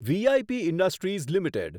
V I P industries limited